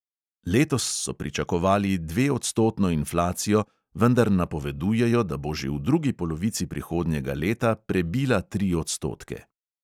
Letos so pričakovali dveodstotno inflacijo, vendar napovedujejo, da bo že v drugi polovici prihodnjega leta prebila tri odstotke.